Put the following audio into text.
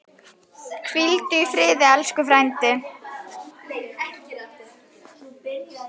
Hvíldu í friði, elsku frændi.